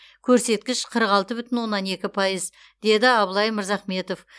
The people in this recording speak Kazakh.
көрсеткіш қырық алты бүтін оннан екі пайыз деді абылай мырзахметов